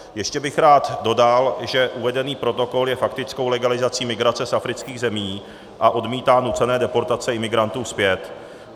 Ještě bych rád dodal, že uvedený protokol je faktickou legalizací migrace z afrických zemí a odmítá nucené deportace imigrantů zpět.